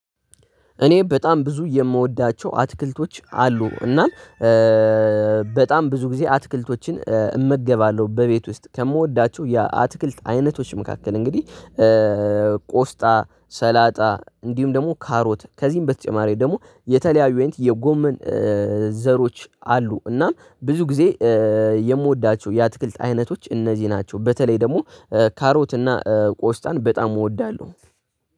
እኔ በጣም ብዙ የምወዳቸው አትክልቶች አሉ። እናም በጣም ብዙ ጊዜ አትክልቶችን እመገባለሁ። በቤት ውስጥ ከምወዳቸው የአትክልት አይነቶች መካከል እንግዲህ። ሰላጣ እንዲሁም ደግሞ ካሮት ከዚህም በተጨማሪ ደግሞ የተለያዩ አይነት የጎመን ዘሮች አሉ። እናም ብዙ ጊዜ የምወዳቸው የአትክልት አይነቶች እነዚህ ናቸው። በተለይ ደግሞ ካሮት እና ቆስጣን በጣም እወዳለሁ።